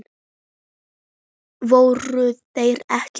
Voru þeir ekki að?